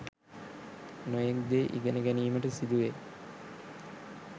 නොයෙක් දේ ඉගෙන ගැනීමට සිදුවෙයි.